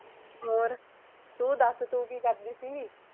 ਹੋਰ, ਤੂੰ ਦੱਸ ਤੂੰ ਕਿ ਕਰਦੀ ਸੀ?